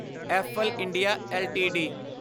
Eiffel India LTD